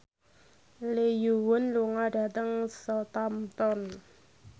Lee Yo Won lunga dhateng Southampton